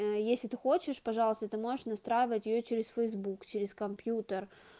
если ты хочешь пожалуйста ты можешь настраивать её через фейсбук через компьютер